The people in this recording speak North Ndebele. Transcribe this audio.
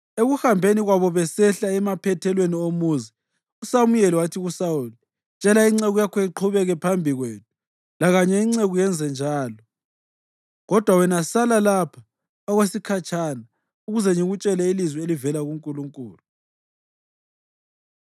Ekuhambeni kwabo besehlela emaphethelweni omuzi, uSamuyeli wathi kuSawuli, “Tshela inceku yakho iqhubeke phambi kwethu” lakanye inceku yenza njalo “kodwa wena sala lapha okwesikhatshana ukuze ngikutshele ilizwi elivela kuNkulunkulu.”